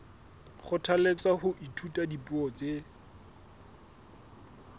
kgothalletswa ho ithuta dipuo tse